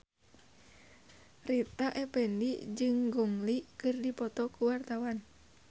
Rita Effendy jeung Gong Li keur dipoto ku wartawan